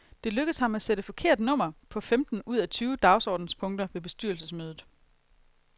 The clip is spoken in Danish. Det lykkedes ham at sætte forkert nummer på femten ud af tyve dagsordenspunkter ved bestyrelsesmødet.